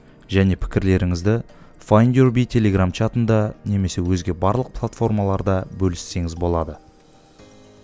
және пікірлеріңізді файндюрби телеграм чатында немесе өзге барлық платформаларда бөліссеңіз болады